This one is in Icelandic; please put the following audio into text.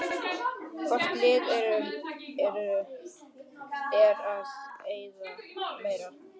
Hvort liðið er að eyða meira?